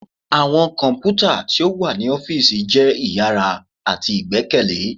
Awọn kọnputa ti o wa ni ọfiisi jẹ iyara ati igbẹkẹle.